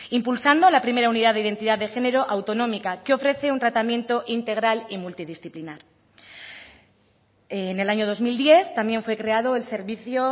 impulsando la primera unidad de identidad de género autonómica que ofrece un tratamiento integral y multidisciplinar en el año dos mil diez también fue creado el servicio